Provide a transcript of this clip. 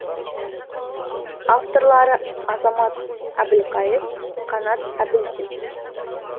авторлары азамат әбілқайыр қанат әбілдин